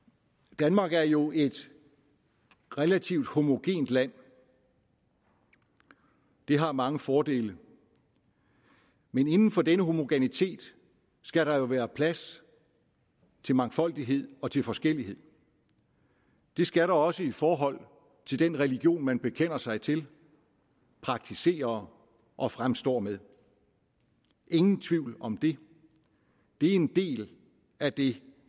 danmark er jo et relativt homogent land og det har mange fordele men inden for denne homogenitet skal der være plads til mangfoldighed og til forskellighed det skal der også i forhold til den religion man bekender sig til praktiserer og fremstår med ingen tvivl om det det er en del af det